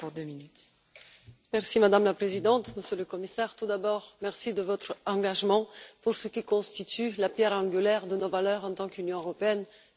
Madame la Présidente, Monsieur le Commissaire, tout d'abord merci de votre engagement pour ce qui constitue la pierre angulaire de nos valeurs en tant qu'Union européenne, c'est à dire les droits de l'homme.